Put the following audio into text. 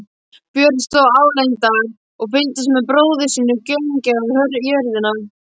Björn stóð álengdar og fylgdist með bróður sínum gaumgæfa jörðina.